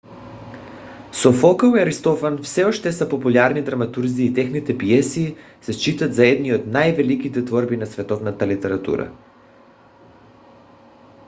софокъл и аристофан все още са популярни драматурзи и техните пиеси се считат за едни от най - великите творби на световната литература